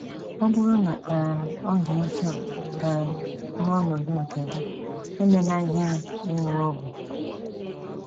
Ọ bụrụ na um ọ dị otú a um n’ọnọdụ nke gị, emela ihere ịṅụ ọgwụ.